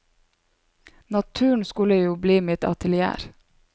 Naturen skulle jo bli mitt atelier.